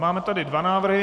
Máme tady dva návrhy.